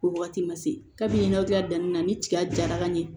O wagati ma se kabini aw diya danni na ni tiga jara ka ɲɛ